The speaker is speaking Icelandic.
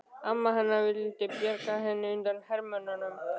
Amma hennar vildi bjarga henni undan hermönnunum.